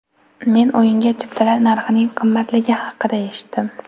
Men o‘yinga chiptalar narxining qimmatligi haqida eshitdim.